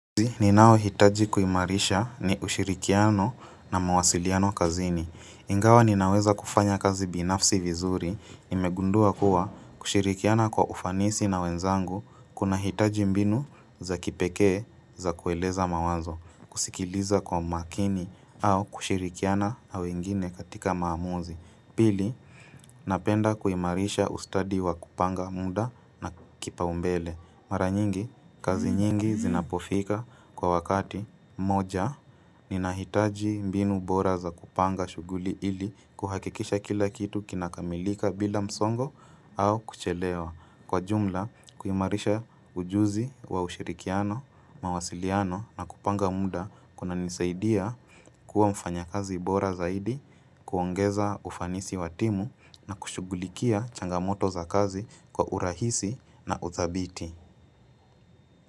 Ninao hitaji kuimarisha ni ushirikiano na mawasiliano kazini. Ingawa ninaweza kufanya kazi binafsi vizuri, imegundua kuwa kushirikiana kwa ufanisi na wenzangu, kunahitaji mbinu za kipekee za kueleza mawazo, kusikiliza kwa makini au kushirikiana na wengine katika maamuzi. Pili, napenda kuimarisha ustadi wa kupanga muda na kipaumbele. Mara nyingi, kazi nyingi zinapofika kwa wakati moja, ninahitaji mbinu bora za kupanga shuguli ili kuhakikisha kila kitu kinakamilika bila msongo au kuchelewa. Kwa jumla, kuimarisha ujuzi wa ushirikiano, mawasiliano na kupanga muda kuna nisaidia kuwa mfanya kazi bora zaidi, kuongeza ufanisi watimu na kushugulikia changamoto za kazi kwa urahisi na uzabiti.